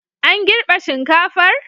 An girbe shinkafar?